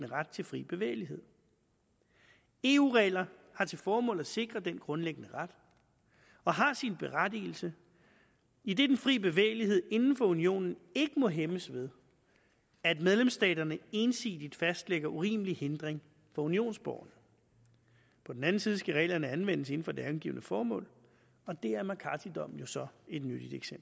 ret til fri bevægelighed eu regler har til formål at sikre den grundlæggende ret og har sin berettigelse idet den fri bevægelighed inden for unionen ikke må hæmmes ved at medlemsstaterne ensidigt fastlægger urimelig hindring for unionsborgere på den anden side skal reglerne anvendes inden for det angivne formål og det er mccarthy dommen jo så et nyttigt